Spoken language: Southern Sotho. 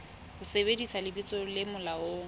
ho sebedisa lebitso le molaong